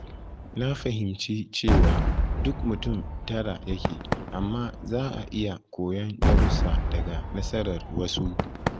Na fahimci cewa duk mutum tara yake, amma za a iya koyon darussa daga nasarar wasu.